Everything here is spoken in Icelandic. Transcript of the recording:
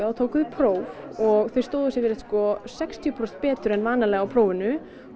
tóku þeir próf og stóðu sig yfirleitt sextíu prósent betur en vanalega á prófinu og